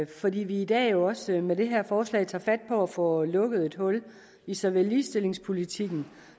fordi vi i dag jo også med det her forslag tager fat på at få lukket et hul i såvel ligestillingspolitikken